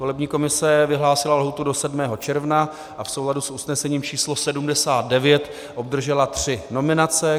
Volební komise vyhlásila lhůtu do 7. června a v souladu s usnesením číslo 79 obdržela tři nominace.